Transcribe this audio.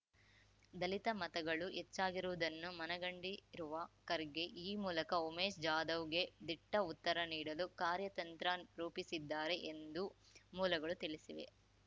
ದಲಿತ ಮತಗಳು ಹೆಚ್ಚಾಗಿರುವುದನ್ನು ಮನಗಂಡಿರುವ ಖರ್ಗೆ ಈ ಮೂಲಕ ಉಮೇಶ್ ಜಾಧವ್‌ಗೆ ದಿಟ್ಟ ಉತ್ತರ ನೀಡಲು ಕಾರ್ಯತಂತ್ರ ರೂಪಿಸಿದ್ದಾರೆ ಎಂದು ಮೂಲಗಳು ತಿಳಿಸಿವೆ